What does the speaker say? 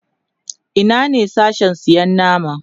Ina ne Sashen sayan nama?